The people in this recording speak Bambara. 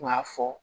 Kuma fɔ